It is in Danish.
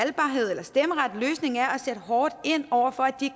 sætte hårdt ind over for at de